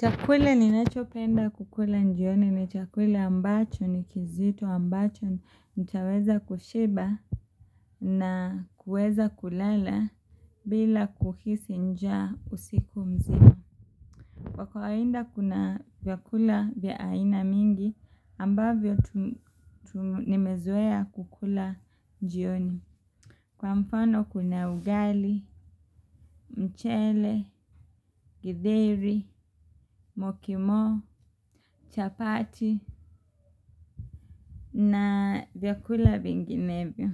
Chakula ninachopenda kukula njioni ni chakula i ambacho ni kizito ambacho nitaweza kushiba na kueza kulala bila kuhisi njaa usiku mzima Kwa kawainda kuna vyakula vya aina mingi ambavyo tu nimezoea kukula jioni. Kwa mfano kuna ugali, mchele, githeri, mokimo, chapati na vyakula vinginevyo.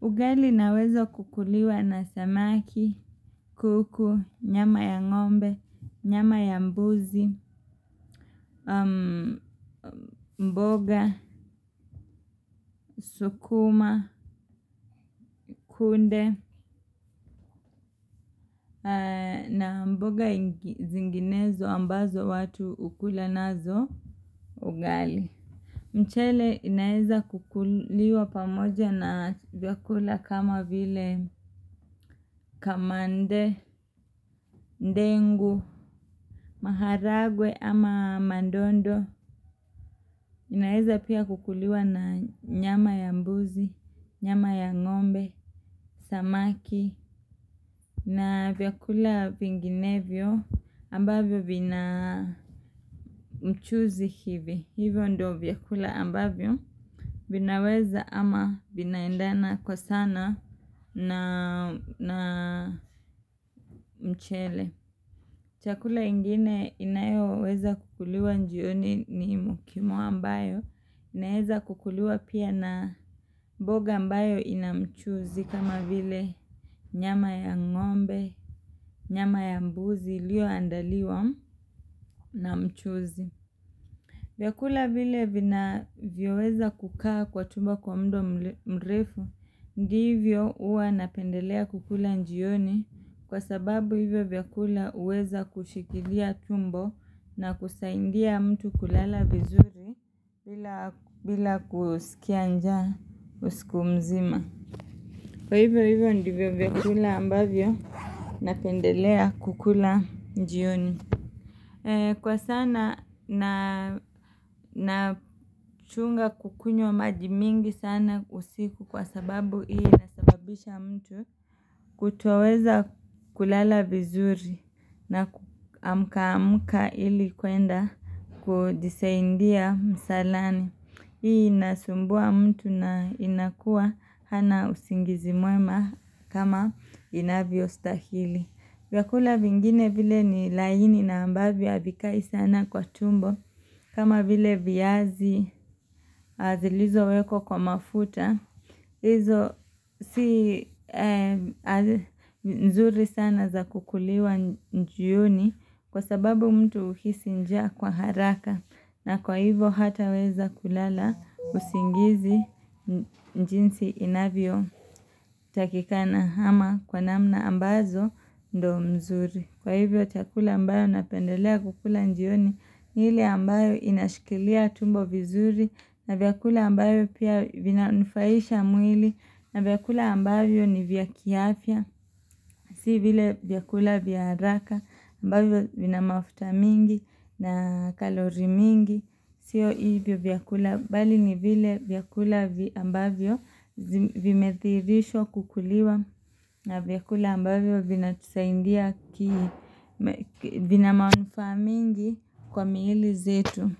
Ugali naweza kukuliwa na samaki, kuku, nyama ya ngombe, nyama ya mbuzi, mboga, sukuma, kunde na mboga ingi zinginezo ambazo watu hukula nazo ugali. Mchele inaeza kukuliwa pamoja na vyakula kama vile kamande, ndengu, maharagwe ama mandondo. Inaeza pia kukuliwa na nyama ya mbuzi, nyama ya ngombe, samaki na vyakula vinginevyo ambavyo vina mchuzi hivi. Hivyo ndo vyakula ambavyo vinaweza ama vinaendana kwa sana na na mchele. Chakula ingine inayoweza kukuliwa njioni ni mokimo ambayo. Inaeza kukuliwa pia na mboga ambayo ina mchuzi kama vile nyama ya ngombe, nyama ya mbuzi iliyoandaliwa na mchuzi. Vyakula vile vinavyoweza kukaa kwa tumbo kwa mdo mre mrefu Ndivyo huwa napendelea kukula njioni Kwa sababu hivyo vyakula huweza kushikilia tumbo na kusaindia mtu kulala vizuri bila kusikia nja usiku mzima Kwa hivyo hivyo ndivyo vyakula ambavyo napendelea kukula njioni Kwa sana na nachunga kukunywa maji mingi sana usiku kwa sababu hii inasababisha mtu kutuoweza kulala vizuri na kuamka amka ili kwenda kudisaindia msalani. Hii inasumbua mtu na inakua hana usingizi mwema kama inavyostahili. Vyakula vingine vile ni laini na ambavyo havikai sana kwa tumbo, kama vile viazi zilizowekwa kwa mafuta, izo si nzuri sana za kukuliwa njioni kwa sababu mtu huhisi njaa kwa haraka. Na kwa hivyo hataweza kulala usingizi njinsi inavyotakikana ama kwa namna ambazo ndo mzuri. Kwa hivyo chakula ambayo napendelea kukula njioni ni ile ambayo inashikilia tumbo vizuri. Na vyakula ambayo pia vinanufaisha mwili. Na vyakula ambavyo ni vya kiafya. Si vile vyakula vya haraka ambavyo vina mafuta mingi na kalori mingi. Sio hivyo vyakula bali ni vile vyakula vi ambavyo vimethiirishwa kukuliwa na vyakula ambavyo vinatusaindia kii vina manufaa mingi kwa miili zetu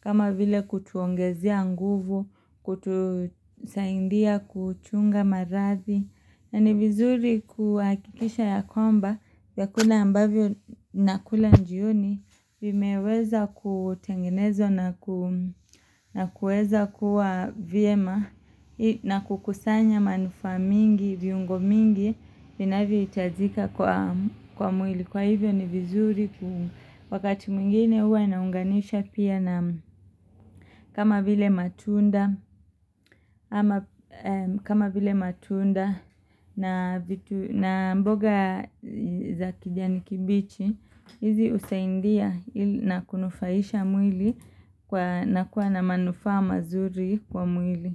kama vile kutuongezea nguvu kutusaindia kuchunga maradhi na ni vizuri kuhakikisha ya kwamba vyakula ambavyo nakula njioni vimeweza kutengenezwa na ku na kuweza kuwa vyema na kukusanya manufaa mingi viungo mingi vinavyohitajika kwa kwa mwili. Kwa hivyo ni vizuri wakati mwingine huwa naunganisha pia na kama vile matunda na vitu na mboga za kijani kibichi hizi husaindia na kunufaisha mwili kwa na kuwa na manufa mazuri kwa mwili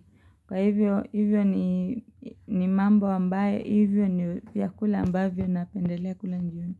Kwa hivyo hivyo ni ni mambo ambayo hivyo ni vyakula ambavyo napendele kula njioni.